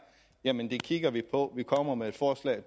jamen det kigger vi på vi kommer med forslag